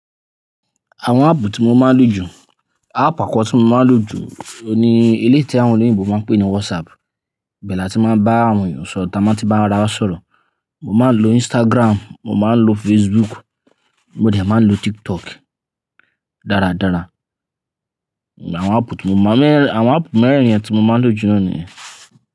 Àwọn áàpù tí mo máa ń lò jù, áàpù àkọ́ko tí mo máa ń lò jù ló ni eléyi tí àwọn oloyinbo máa ń pè ní WhatsApp. Bẹ́ẹ̀ la tí máa ń bá àwọn èèyàn sọ̀rọ̀ táa máa ti bá ara wa sọ̀rọ̀. Mo máa ń lo Instagram, mo máa ń lo Facebook, mo dẹ̀ máa ń lo TikTok dáradára. Àwọn áàpù tí mo máa ń lo, àwọn áàpù mẹ́rin tí mo máa ń lò jù lọ ní.